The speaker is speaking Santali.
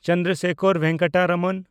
ᱪᱚᱱᱫᱨᱚᱥᱮᱠᱷᱚᱨ ᱵᱷᱮᱝᱠᱟᱴᱟ ᱨᱚᱢᱚᱱ